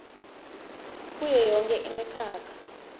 kuyo yonkhe imikhakha